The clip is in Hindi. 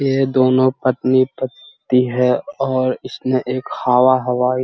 ये दोनों पत्नी-पति है और इसने एक हवा-हवाई --